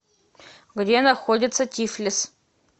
где находится тифлис